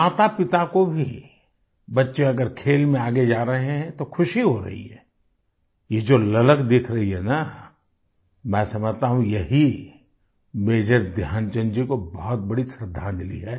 मातापिता को भी बच्चे अगर खेल में आगे जा रहे हैं तो खुशी हो रही है ये जो ललक दिख रही है न मैं समझता हूँ यही मेजर ध्यानचंद जी को बहुत बड़ी श्रद्धांजलि है